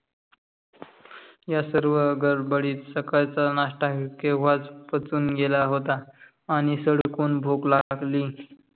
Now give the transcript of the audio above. या सर्व्ह गडबडीत सकळचा नाष्टाही केव्हाच पचून गेला होता. आणि सडकून भूक लागली.